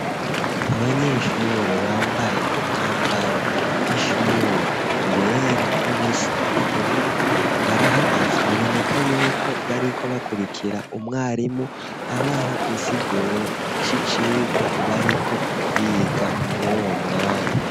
Abanyeshure bambaye umwambaro w'ishure wera n'ubusa n'ubururu, barahagaze biboneka yuko bariko bakurikira umwarimu abaha insiguro c'icigwa bariko biga mwuwo mwanya.